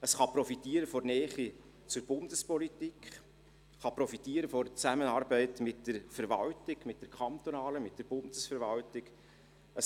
Es kann von der Nähe zur Bundespolitik und von der Zusammenarbeit mit der kantonalen und der Bundeswerwaltung profitieren.